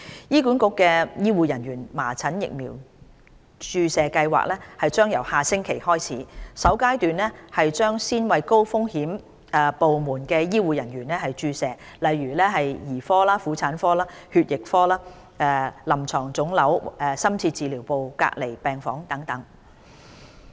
醫管局醫護人員麻疹疫苗注射計劃將由下星期開始，首階段先為高風險部門的醫護人員接種疫苗，例如兒科、婦產科、血液科、臨床腫瘤科、深切治療部及隔離病房等。